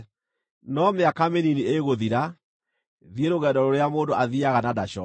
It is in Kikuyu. “No mĩaka mĩnini ĩgũthira, thiĩ rũgendo rũrĩa mũndũ athiiaga na ndacooke.